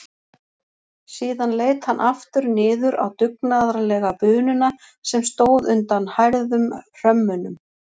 Síðan leit hann aftur niður á dugnaðarlega bununa sem stóð undan hærðum hrömmunum.